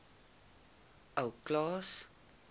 ou klaas